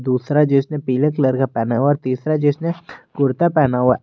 दूसरा जिसने पीले कलर का पहना और तीसरा जिसने कुर्ता पहना हुआ--